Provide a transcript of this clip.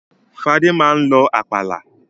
Fadé máa ń lọ àpàlà.